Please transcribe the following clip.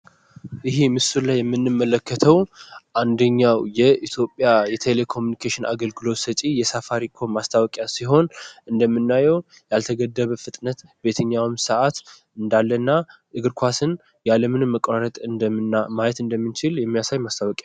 ምስል ላይ የምንመለከተው የምንመለከተው አንደኛው የኢትዮጵያ የቴሌኮሙኒኬሽን አገልግሎት ሰጪ ማስታወቂያ ሲሆን እንደምናየው ያልተገደበ ፍጥነት በየትኛውም ሰዓት እንዳለና እግር ኳስን ያለምን መቋረጥ እንደሚችል የሚያሳይ ማስታወቂያ